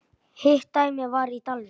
Hitt dæmið var í Dalvík.